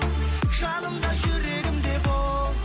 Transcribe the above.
жаным да жүрегім де бол